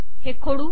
हे खोडू